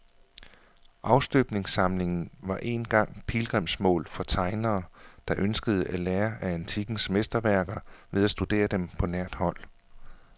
Afstøbningssamlingen var engang pilgrimsmål for tegnere, der ønskede at lære af antikkens mesterværker ved at studere dem på nært hold.